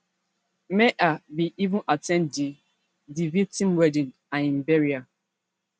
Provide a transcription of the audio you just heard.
meher bin even at ten d di di victim wedding and im burial